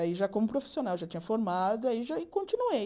Aí, já como profissional, já tinha formado, aí já continuei.